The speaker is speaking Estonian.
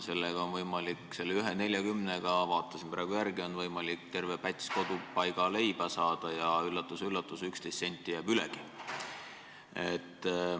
Selle 1,40-ga on võimalik – vaatasin praegu järele – terve päts Kodupaiga leiba saada ja, üllatus-üllatus, 11 senti jääb ülegi.